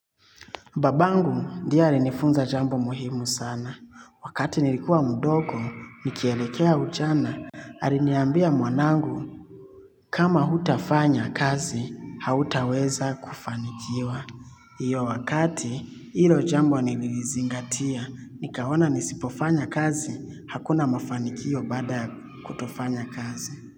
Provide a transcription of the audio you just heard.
Babangu ndi ye alinifunza jambo muhimu sana. Wakati nilikuwa mdogo, nikielekea ujana, hariniambia mwanangu kama hutafanya kazi, hautaweza kufanikiwa. Iyo wakati, hilo jambo nilizingatia, nikaona nisipofanya kazi, hakuna mafanikio baada kutofanya kazi.